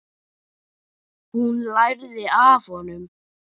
Hún lærði af honum.